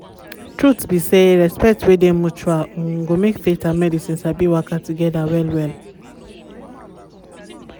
truth um be say respect wey dey mutual um go make faith and medicine sabi waka together well-well.